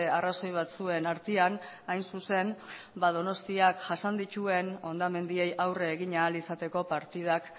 arrazoi batzuen artean hain zuzen donostiak jasan dituen hondamendiei aurre egin ahal izateko partidak